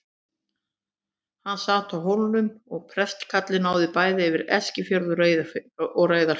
Hann sat á Hólmum og prestakallið náði bæði yfir Eskifjörð og Reyðarfjörð.